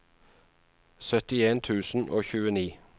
syttien tusen og tjueni